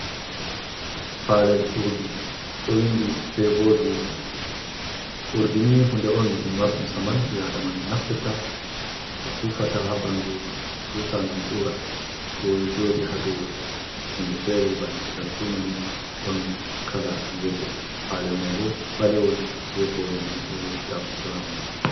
Palel urɗi. oruɗi febo biuti. Urɗini hunɗe on ɗum marɗum saman be aɗamajo naftirta fufata ha banɗu. Susa ngam ura. ɗo jodi ha ɗow hunɗe fere bana darɗumani. Ɗon kala yelo palel mai bo balewol be hore manɗo ɗag burau.